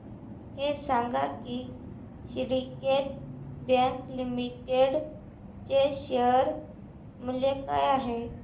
हे सांगा की सिंडीकेट बँक लिमिटेड चे शेअर मूल्य काय आहे